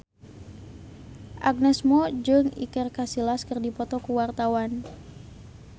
Agnes Mo jeung Iker Casillas keur dipoto ku wartawan